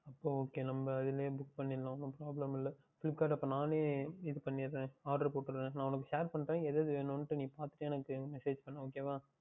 அப்பொழுது Okay நாம் அதில் இருந்து பண்ணி கொள்ளலாம் ஒன்றும் Problem இல்லை Flipkart யில் அப்பொழுது நானே இது பண்ணிவிடுகின்றேன் நான் உனக்கு Share பண்ணுகின்றேன் இது இது வேண்டும் என்று நீ பார்த்து விட்டு எனக்கு Message பண்ணு Okay